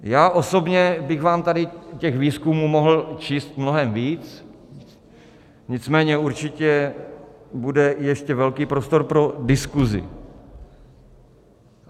Já osobně bych vám tady těch výzkumů mohl číst mnohem víc, nicméně určitě bude ještě velký prostor pro diskuzi.